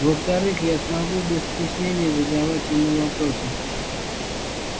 во-вторых я смогу без стеснения задавать ему вопросы